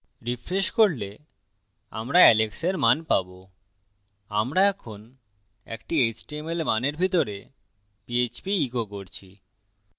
refreshing করলে আমরা alex এর মান পাবো আমরা এখন একটি html মানের ভিতরে পীএচপী ইকো করছি